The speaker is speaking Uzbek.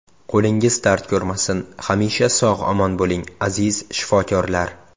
Qo‘lingiz dard ko‘rmasin, hamisha sog‘-omon bo‘ling, aziz shifokorlar!